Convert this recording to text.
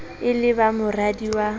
e le ba moradi wa